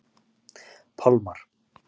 Pálmar